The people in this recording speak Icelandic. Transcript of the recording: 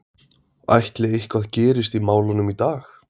Ætli eitthvað gerist í málunum í dag?